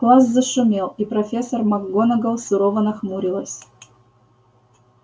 класс зашумел и профессор макгонагалл сурово нахмурилась